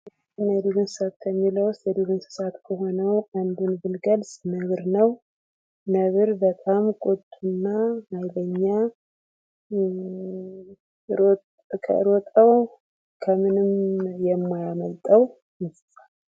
የቤት እና የዱር እንስሳት ከሚለው ውስጥ ከሆነው አንዱን ብንገልጽ ነብር ነው። ነብር በጣም ቁጡ እና ኃይለኛ ከሮጠው ከምንም የማያመልጠው እንስሳ።